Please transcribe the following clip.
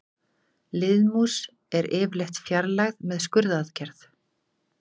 Liðmús er yfirleitt fjarlægð með skurðaðgerð.